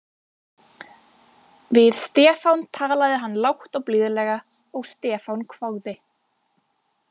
Við Stefán talaði hann lágt og blíðlega og Stefán hváði